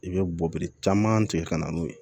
I bɛ bɔ biri caman tigɛ ka na n'o ye